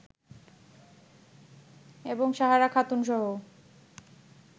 এবং সাহারা খাতুনসহ